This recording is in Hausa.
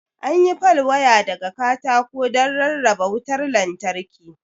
An yi pal waya daga katako don rarraba wutar lantarki.